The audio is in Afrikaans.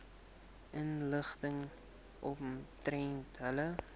inligting omtrent julle